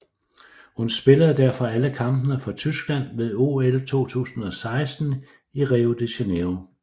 Hun spillede derfor alle kampene for Tyskland ved OL 2016 i Rio de Janeiro